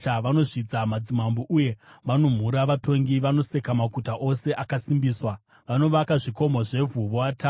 Vanozvidza madzimambo uye vanomhura vatongi. Vanoseka maguta ose akasimbiswa; vanovaka zvikomo zvevhu voatapa.